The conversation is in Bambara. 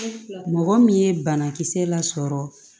Mɔgɔ min ye banakisɛ lasɔrɔ